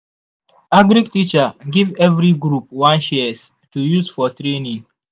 agric teacher give every group one shears to use for training.